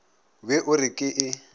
be o re ke e